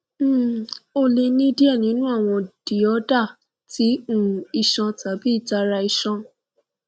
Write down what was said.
um o le ni diẹ ninu awọn diorder ti um iṣan tabi itara iṣan